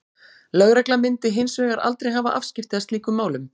Lögregla myndi hins vegar aldrei hafa afskipti af slíkum málum.